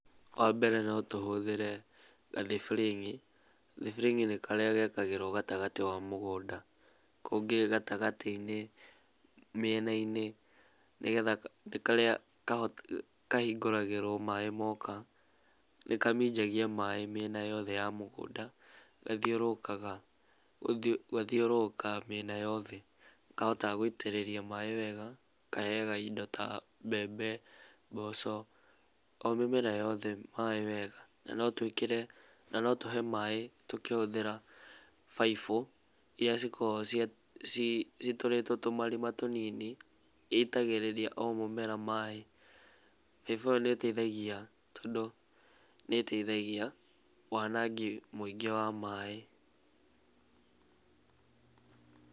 Wambere no tũhũthĩre gathiburing'i, thibũring'ini nĩ karĩa gekagĩrwo gatagatĩ wa mũgũnda, kũngĩ gatagatĩinĩ na mĩenainĩ. Nĩ karia kahingũragĩrwo maĩ moka nĩkaminjagia maaĩ mĩena yothe ya mũgũnda, na gathiũrũrũkaga mĩena yothe na nĩkahotaga gũitĩrĩria maaĩ wega, kaheyaga indo ta mbembe, mboco o mĩmera yothe maaĩ wega. Na no tũhe maaĩ tũkĩhũthĩra baibũ iria cikoragwo citũrĩtwo tũmarima tũnini ĩitagĩrĩria o mũmera maaĩ, baibũ ĩyo nĩ ĩteithagia nĩĩteithagia wanangĩki mũingĩ wa maaĩ.